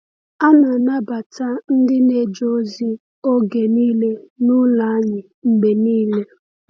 A na-anabata ndị na-eje ozi oge niile n’ụlọ anyị mgbe niile.